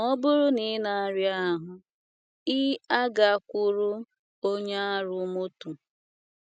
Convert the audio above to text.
Ma ọ bụrụ na ịna aria ahụ,ị agakwuru onye arụ mọtọ